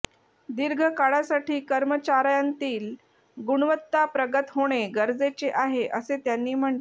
दीर्घ काळासाठी कर्मचाऱयांतील गुणवत्ता प्रगत होणे गरजेचे आहे असे त्यांनी म्हटले